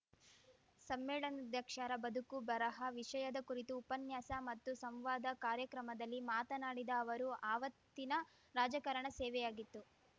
ಸಮ್ಮೇಳನಾಧ್ಯಕ್ಷರ ಬದುಕು ಬರಹ ವಿಷಯದ ಕುರಿತು ಉಪನ್ಯಾಸ ಮತ್ತು ಸಂವಾದ ಕಾರ್ಯಕ್ರಮದಲ್ಲಿ ಮಾತನಾಡಿದ ಅವರು ಆವತ್ತಿನ ರಾಜಕಾರಣ ಸೇವೆಯಾಗಿತ್ತು